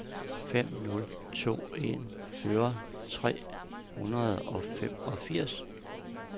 fem nul to en fyrre tre hundrede og femogfirs